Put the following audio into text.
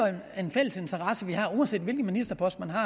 en fælles interesse vi har uanset hvilken ministerpost man har